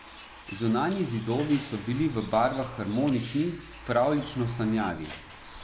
Zunanji zidovi so bili v barvah harmonični, pravljično sanjavi.